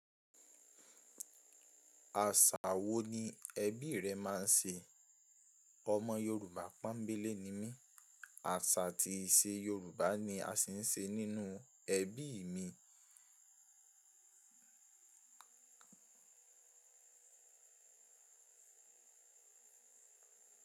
Àṣà wo ni ẹbí rẹ máa ń ṣe? Ọmọ Yorùbá pọ́ńbélé ni mí, àṣà àti ìṣe Yorùbá ni a ṣì ń ṣe nínú ẹbí mi.